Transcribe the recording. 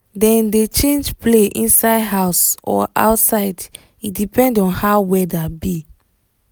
dem dey change play inside house or outside e depend on how weather be